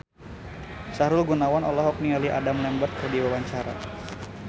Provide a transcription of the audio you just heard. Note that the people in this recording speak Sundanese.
Sahrul Gunawan olohok ningali Adam Lambert keur diwawancara